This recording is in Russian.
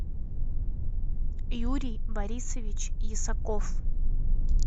юрий борисович ясаков